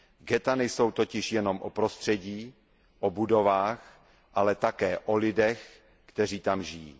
Ghetta nejsou totiž jenom o prostředí, o budovách, ale také o lidech, kteří tam žijí.